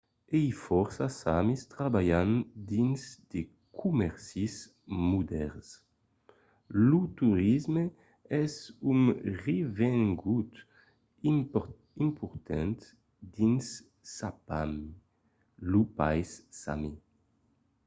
uèi fòrça samis trabalhan dins de comèrcis modèrns. lo torisme es un revengut important dins sápmi lo país sami